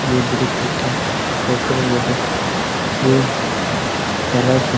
এই দৃশ একটা ওপরের বটে। এই কালার কে --